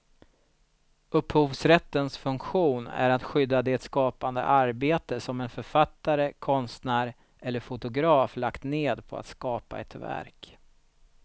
Upphovsrättens funktion är att skydda det skapande arbete som en författare, konstnär eller fotograf lagt ned på att skapa ett verk.